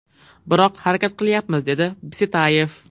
Biroq harakat qilyapmiz”, dedi Bisetayev.